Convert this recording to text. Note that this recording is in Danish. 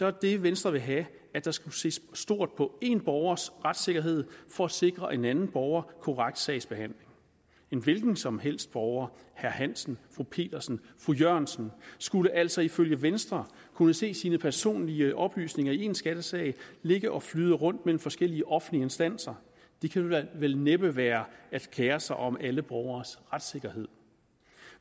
er det venstre vil have at der skulle ses stort på en borgers retssikkerhed for at sikre en anden borger korrekt sagsbehandling en hvilken som helst borger herre hansen fru petersen fru jørgensen skulle altså ifølge venstre kunne se sine personlige oplysninger i en skattesag ligge og flyde rundt mellem forskellige offentlige instanser det kan vel næppe være at kere sig om alle borgeres retssikkerhed